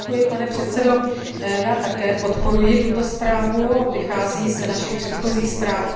Děkuji, pane předsedo, já také podporuji tuto zprávu, vychází z našich předchozích zpráv.